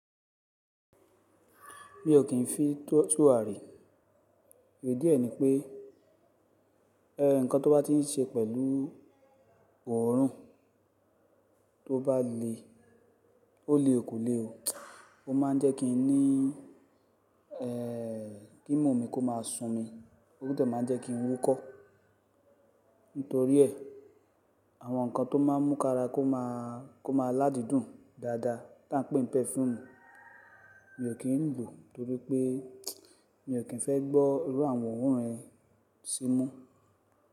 Mi ò kí ń fi tọ̀, tùrà rí. Í díẹ̀ ni pé, ẹ, nǹkan tó bá ti ń ṣe pẹ̀lú òórùn tó bá le, ó le ò ko lé o. Ó máa ń jẹ́ kí n ní, ẹ́, kí ìmú mi kó má a sùn mi, ó tò máa ń jẹ́ kí ń wúkọ́. Nítorí ẹ, àwọn nǹkan tó máa ń mú kara kó má a, kó má a ládùn dùn dáadáa tá ń pé pẹ́fùmù, mi ò kí ń lò nítorí pé mi ò kí ń fẹ́ gbọ́ irú àwọn òórùn yẹn sí mú.